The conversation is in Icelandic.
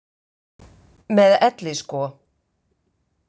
Með elli sko.